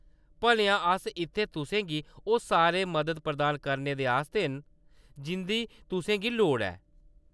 भलेआं ! अस इत्थें तुसें गी ओह्‌‌ सारे मदद प्रदान करने दे आस्तै न जिंʼदी तुसें गी लोड़ ऐ।